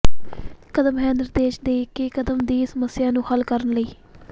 ਕਦਮ ਹੈ ਨਿਰਦੇਸ਼ ਦੇ ਕੇ ਕਦਮ ਦੀ ਸਮੱਸਿਆ ਨੂੰ ਹੱਲ ਕਰਨ ਲਈ